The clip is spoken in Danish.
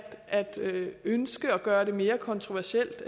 ønske at gøre det mere kontroversielt